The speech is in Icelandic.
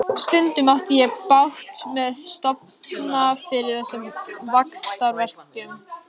Stundum átti ég bágt með að sofna fyrir þessum vaxtarverkjum.